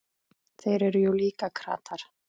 Þeir eru jú líka kratar.